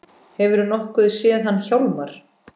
Hefurðu nokkuð séð hann Hjálmar